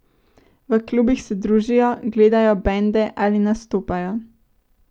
V klubih se družijo, gledajo bende ali nastopajo.